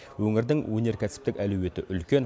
өңірдің өнеркәсіптік әлеуеті үлкен